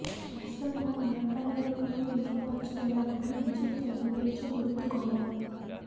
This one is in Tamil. மெர்சல்னா மிரட்டலா இருக்கணும் என்ற பஞ்ச் டயலாக்குடன் விஜய் தனது பேச்சை முடித்து கொண்டார்